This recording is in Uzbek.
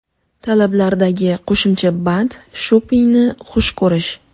Talablardagi qo‘shimcha band shopingni xush ko‘rish.